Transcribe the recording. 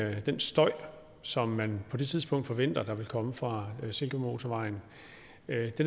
at den støj som man på det tidspunkt forventer vil komme fra silkeborgmotorvejen